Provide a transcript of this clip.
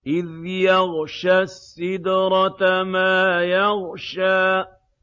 إِذْ يَغْشَى السِّدْرَةَ مَا يَغْشَىٰ